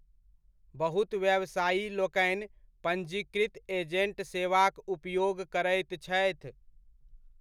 बहुत व्यवसायीलोकनि पंजीकृत एजेण्ट सेवाक उपयोग करैत छथि।